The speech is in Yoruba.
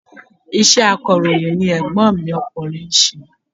Iṣẹ́ akọ̀ròyìn ni ègbón mi okùnrin nse